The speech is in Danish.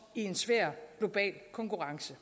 i en svær global konkurrence